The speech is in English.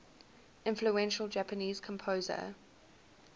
influential japanese composer